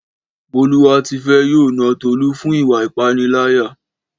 Bọ́lúwátifẹ́ yóò na Tolú fún ìwà ìpániláyà